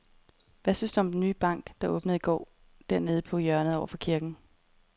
Hvad synes du om den nye bank, der åbnede i går dernede på hjørnet over for kirken?